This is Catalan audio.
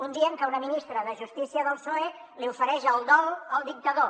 un dia en què una ministra de justícia del psoe li ofereix el dol al dictador